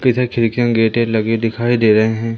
इधर खिड़कियां के गेटे लगे दिखाई दे रहे है।